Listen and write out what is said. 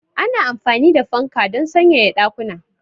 Ana amfani da fanka don sanyaya ɗakuna.